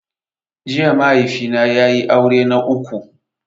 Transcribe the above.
Jiya mahaifi na ya yi aure na uku